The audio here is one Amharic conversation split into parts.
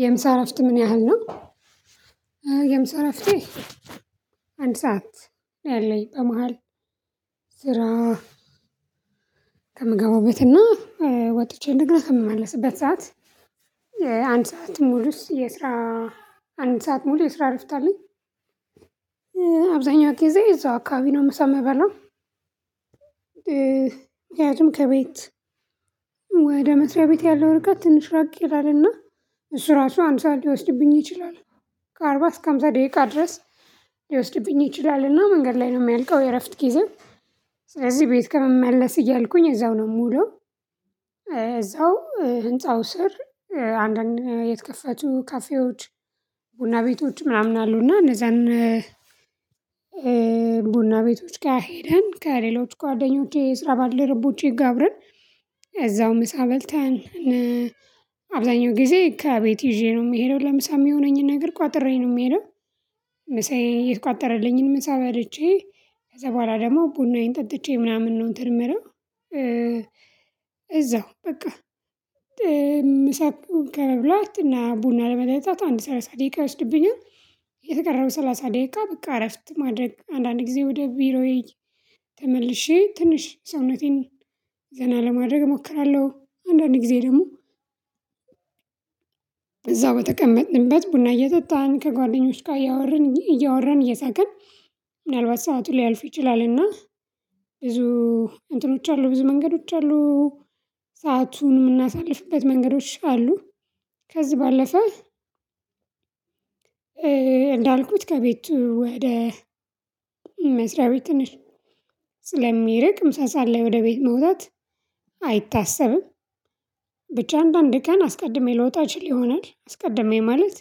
የምሳ እረፍት ምን ያህል ነው? የምሳ እረፍቴ አንድ ሰዓት ነው ያለኝ በመሃል ስራ ከምገባው ቤት እና ወጥቼ እንድግል ስመለስበት ሰዓት አንድ ሰዓት ሙሉስ የስራ አንድ ሰዓት ሙሉ የስራ አረፍታልኝ። አብዛኛው ጊዜ እዛው አካባቢ ነው የምሰማው የበለው። ከቤት ወደ ምድር ቤት ያለው ርቀት ትንሽ ራቅ ይላልና እሱ ራሱ አንድ ሰዓት ሊወስድብኝ ይችላል። ከአርባ እስከ ሃምሳ ደቂቃ ድረስ ሊወስድብኝ ይችላል እና መንገድ ላይ ነው የሚያልቀው የእረፍት ጊዜው። ስለዚህ ቤት ከመመለስ እያልኩኝ እዛው ነው የምውለው። እዛው ህንፃው ስር አንዳንድ የተከፈቱ ካፌዎች ቡና ቤቶች ምናምን አሉና እነዛን። ቡና ቤቶች ጋር ሄደን ከሌሎች ጓደኞቼ እስራባልደረቦቼ ጋር አብረን እዛው ምሳ በልተን። አብዛኛው ጊዜ ከቤት ይዤ ነው የምሄደው ለምሳ የሚሆነኝን ነገር ቋጥሬ ነው የምሄደው። ምሳዬ የት ቋጠረልኝን ምሳ በልቼ ከዛ በኋላ ደግሞ ቡናዬን ጠጥቼ ምናምን ነው እንትር ምረው። እዛው በቃ ምሳ ከመብላት እና ቡና ለመገንጣት አንድ ሰላሳ ደቂቃ ወስድብኛል። የተቀረበው ሰላሳ ደቂቃ በቃ እረፍት ማድረግ አንዳንድ ጊዜ ወደ ቢሮዬ ተመልሼ ትንሽ ሰውነቴን ዘና ለማድረግ እሞክራለሁ። አንዳንዴ ጊዜ ደግሞ እዛው በተቀመጥንበት ቡና እየጠጣን ከጓደኞች ጋር እያወረን እያወረን እየሳቀን ምናልባት ሰዓቱ ሊያልፉ ይችላል እና ብዙ እንትኖች አሉ ብዙ መንገዶች አሉ። ሰአቱን የምናሳልፍበት መንገዶች አሉ ከዚህ ባለፈ። እንዳልኩት ከቤቱ ወደ መስሪያ ቤት ትንሽ ስለሚርቅ ምሳ አለ ወደ ቤት መውጣት አይታሰብም። ብቻ አንዳንድ ድካም አስቀድሜ ልወጣ ይችል ይሆናል አስቀድሜ ማለት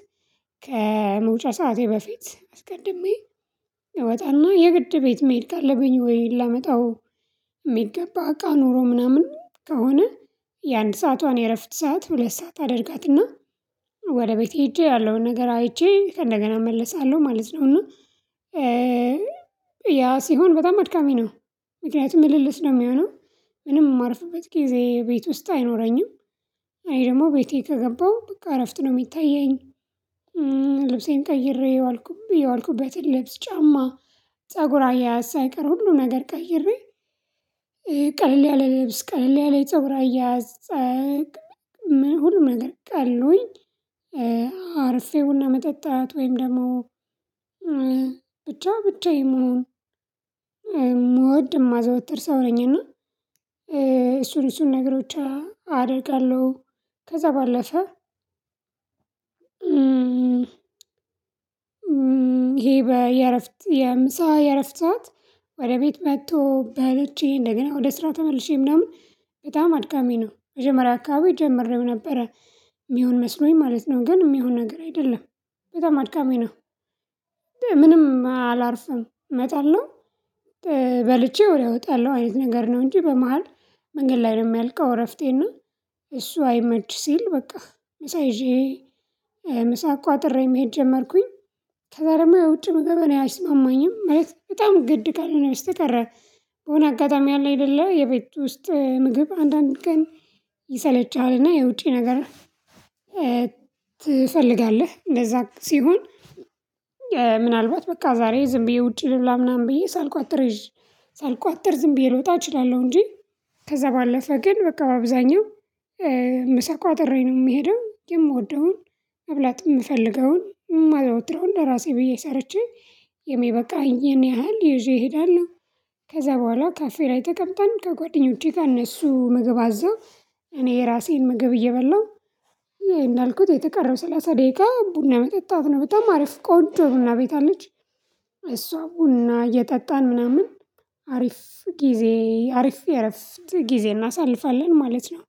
ከመውጫ ሰዓቴ በፊት አስቀድሜ እወጣና የግድ ቤት መሄድ ካለበኝ ወይ ላመጣው የሚገባ አቃ ኖሮ ምናምን ከሆነ። የአንድ ሰዓቷን የእረፍት ሰዓት ሁለት ሰዓት አድርጋትና ወደ ቤት ሄጄ ያለውን ነገር አይቼ እንደገና እመለሳለሁ ማለት ነው። እና ያ ሲሆን በጣም አድካሚ ነው። ምክንያቱም ምልልስ ነው የሚሆነው ምንም የማርፍበት ጊዜ ቤት ውስጥ አይኖረኝም። አይ ደግሞ ቤቴ ከገባሁ ብቃ አረፍት ነው የሚታየኝ። ልብሴን ቀይሬ አልኩበት የለብስ ጫማ ፀጉር አያያዝ ሳይቀር ሁሉ ነገር ቀይሬ። ቀለል ያለ ልብስ ቀለል ያለ ፀጉር አያያስ። አርፌ ቡና መጠጣት ወይም ደግሞ ብቻ ብቻ የምሆን ምወድ የማዘወትር ሰው ነኝና እሱን እሱን ነገሮች አደርጋለሁ። ከዛ ባለፈ ይሄ በየእረፍት የምሳ የእረፍት ሰዓት ወደ ቤት መጥቶ በለቼ እንደገና ወደ ስራ ተመልሼ ምናምን በጣም አድካሚ ነው። መጀመሪያ አካባቢ ጀመርን ነበረ የሚሆን መስሎኝ ማለት ነው ግን የሚሆን ነገር አይደለም። በጣም አድካሚ ነው። ምንም አላርፍም እመጣለሁ። በልቼ ወሬ አወጣለሁ አይነት ነገር ነው እንጂ በመሃል መንገድ ላይ ነው የሚያልቀው እረፍቴና። እሱ አይመች ሲል በቃ ምሳ ይዤ ምሳ ቋጥሬ መሄድ ጀመርኩኝ። ከዛ ደግሞ የውጭ ምግብ ነው አይስማማኝም ማለት በጣም ግድ ቃል ሆኖ ስትቀረ በሆነ አጋጣሚ አለ የሌለው የቤት ውስጥ ምግብ አንዳንድ ቀን ይሰለቻልና የውጪ ነገር። ትፈልጋለህ እንደዛ ሲሆን ምናልባት በቃ ዛሬ ዝም ብዬ ውጪ ልብላ ምናምን ብዬ ሳልቋጥር ሳልቋጥር ዝም ብዬ ልውጣ እችላለሁ እንጂ። ከዛ ባለፈ ግን በቃ በአብዛኛው ምሳ ቋጥሬ ነው የምሄደው የምወደውን መብላት የምፈልገውን የማዘወትረውን ለራሴ ብዬ ሰርቼ የሚበቃኝ ይሄን ያህል ይዤ እሄዳለሁ። ከዛ በኋላ ካፌ ላይ ተቀምጠን ከጓደኞቼ ጋር እነሱ ምግብ አዘው እኔ የራሴን ምግብ እየበላሁ። ይሄ እንዳልኩት የቀረው ሰላሳ ደቂቃ ቡና መጠጣት ነው በጣም አሪፍ ቆንጆ ቡና ቤት አለች። እሷ ቡና እየጠጣን ምናምን አሪፍ ጊዜ አሪፍ የእረፍት ጊዜ እናሳልፋለን ማለት ነው።